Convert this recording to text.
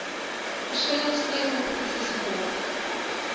verskillende streekskompetisies geborg